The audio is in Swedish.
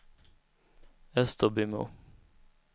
Österbymo